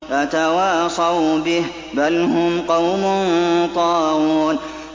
أَتَوَاصَوْا بِهِ ۚ بَلْ هُمْ قَوْمٌ طَاغُونَ